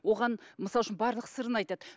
оған мысалы үшін барлық сырын айтады